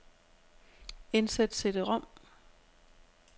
Indsæt cd-rom.